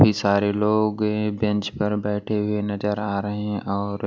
काफी सारे लोग बेंच पर बैठे हुए नजर आ रहे हैं और--